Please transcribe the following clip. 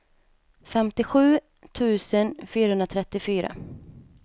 femtiosju tusen fyrahundratrettiofyra